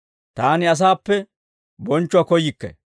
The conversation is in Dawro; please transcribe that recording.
«Taani asaappe bonchchuwaa koyyikke.